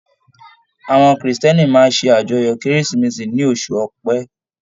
Àwọn Kiristẹni máa ṣe ajọ́yọ kérésìmesì ní oṣù ọpẹ.